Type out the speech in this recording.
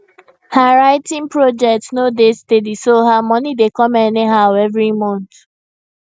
her writing project no dey steady so her money dey come anyhow evri month